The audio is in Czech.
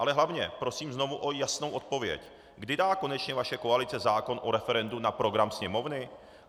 Ale hlavně, prosím znovu o jasnou odpověď: Kdy dá konečně vaše koalice zákon o referendu na program Sněmovny?